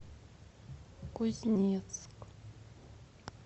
кузнецк